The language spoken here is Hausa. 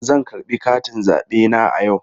Zan karɓi katin zabe na a yau.